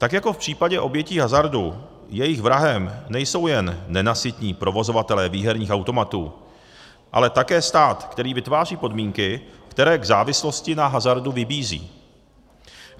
Tak jako v případě obětí hazardu, jejich vrahem nejsou jen nenasytní provozovatelé výherních automatů, ale také stát, který vytváří podmínky, které k závislosti na hazardu vybízejí.